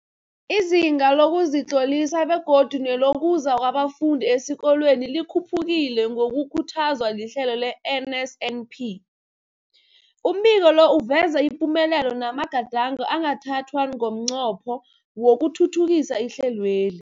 Izinga lokuzitlolisa begodu nelokuza kwabafundi esikolweni likhuphukile ngokukhuthazwa lihlelo le-NSNP. Umbiko lo uveza ipumelelo namagadango angathathwa ngomnqopho wokuthuthukisa ihlelweli.